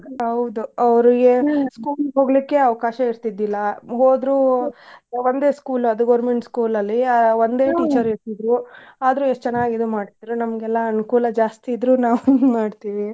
ಹೌದು school ಗ್ ಹೋಗ್ಲಿಕ್ಕೆ ಅವ್ಕಾಶ ಇರ್ತಿದ್ದಿಲ್ಲಾ, ಹೋದ್ರು ಆ ಒಂದೇ school ಅದ್ government school ಅಲ್ಲಿ ಆ ಇರ್ತಿದ್ರು ಆದ್ರು ಎಷ್ಟ್ ಚೆನ್ನಾಗಿ ಇದ್ ಮಾಡ್ತಿದ್ರು ನಮ್ಗೆಲ್ಲಾ ಅನುಕೂಲ ಜಾಸ್ತಿ ಇದ್ರು ನಾವ್ ಹಿಂಗ್ ಮಾಡ್ತೀವಿ.